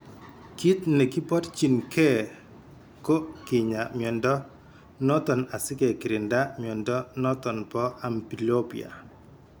Kiit negi borchin gee ko kinyaa mnyondo noton asige kirinda mnyondo noton bo amblyopia